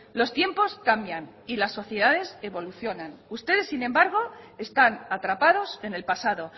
los tiempos cambian y las sociedades evolucionan ustedes sin embargo están atrapados en el pasado